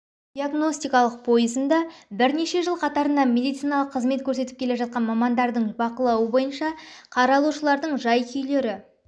диагностикалық пойызында бірнеше жыл қатарынан медициналық қызмет көрсетіп келе жатқан мамандардың бақылауы бойынша қаралушылардың жай-күйлері